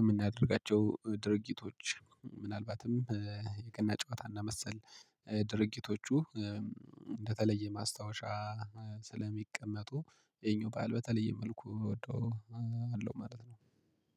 የምናደርጋቸው ድርጊቶች ምናልባትም የገና ጨዋታ እና መሰል ድርጊቶቹ እንደተለየ ማስታወሻ ስለሚቀመጡ ይሄኛው በዓል በተለየ መልኩ እወደዋለሁ ማለት ነው።